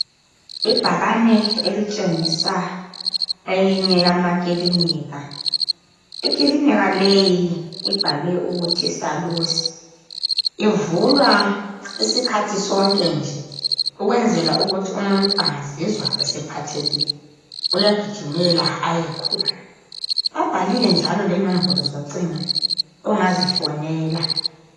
Ibhakane litshengisa eyinye ikilinika. Ikilinika le ibhalwe ukuthi Salusi. Ivulwa isikhathi sonke nje ukwenzela ukuthi umuntu angazizwa ephathekile uyagijimela khona. Kubhaliwe lenombolo zocingo ongazifonela.